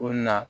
O na